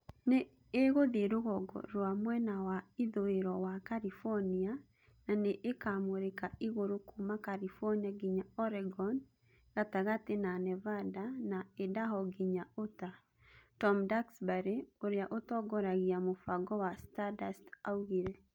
"Nĩ ĩgũthiĩ rũgongo rũa mwena wa ithũĩro wa California na nĩ ĩkamũrĩka igũrũ kuuma California nginya Oregon gatagatĩ na Nevada na Idaho nginya Utah", Tom Duxbury, ũrĩa ũtongoragia mũbango wa Stardust oigire.